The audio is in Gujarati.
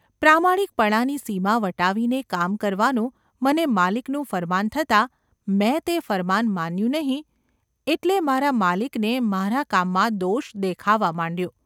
પ્રામાણિકપણાની સીમા વટાવીને કામ કરવાનું મને માલિકનું ફરમાન થતાં મેં તે ફરમાન માન્યું નહિ એટલે મારા માલિકને મારા કામમાં દોષ દેખાવા માંડ્યો.